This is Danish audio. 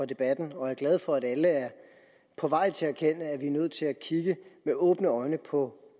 debatten og er glad for at alle er på vej til at erkende at vi er nødt til at kigge med åbne øjne på